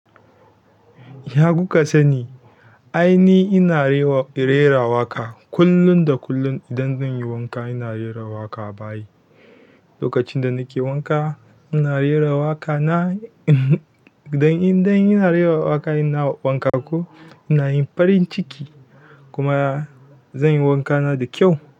Ya kuka sani? Ai ni ina rera waƙa kullun da kullun idan zan yi wanka ina rera waƙa a bayi. Lokacin da nake wanka ina rera waƙa na idan ina rera waƙa ina wanka ko ina yin farin ciki kuma zan yi wanka na da kyau.